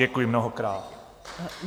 Děkuji mnohokrát.